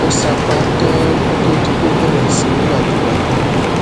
ó sapá ganan kó tó di pé ó bèrè sí í gbàdúrà